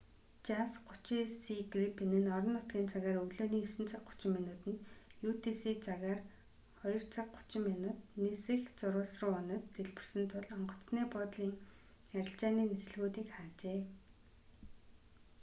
жас 39си грипен нь орон нутгийн цагаар өглөөний 9 цаг 30 минутанд utc цагаар 02 цаг 30 минут нисэх зурвас руу унаж дэлбэрсэн тул онгоцны буудлын арилжааны нислэгүүдийг хаажээ